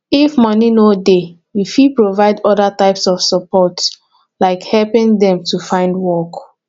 if moni no dey you fit provide oda types of support like helping dem to find work